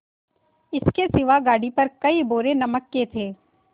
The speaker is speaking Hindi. इसके सिवा गाड़ी पर कई बोरे नमक के थे